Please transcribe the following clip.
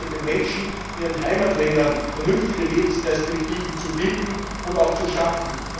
Das bedeutet, den Menschen in ihren Heimatländern vernünftige Lebensperspektiven zu bieten und auch zu schaffen.